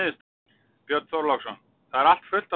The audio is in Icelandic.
Björn Þorláksson: Það er allt fullt af fólki?